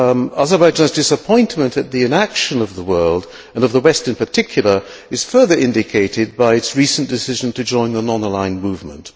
Azerbaijan's disappointment at the inaction of the world, and of the West in particular, is further indicated by its recent decision to join the non aligned movement.